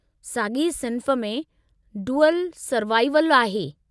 साॻी सिन्फ़ में 'डुअलु सरवाइवलु' आहे।